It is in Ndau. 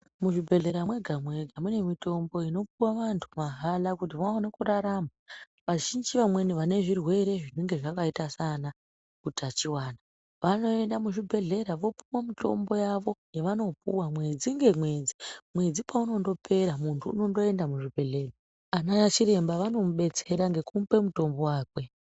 Muzvibhedhlera mwega mwega mune mitombo inopuwa antu mahala kuti vaone kurarama vazhinji vamweni vane zvirwere zvinenge zvakaita saana utachiwana vanoenda muzvibhedhlera vopuwe mutombo yavo yavano puwa mwedzi ngemwedzi mwedzi paunondopera muntu unondoenda kuzvibhedhlera vana chiremba vanomudetsera ngekumupe mutombo wakwe.